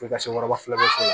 F'i ka se waraba fila bɔ a la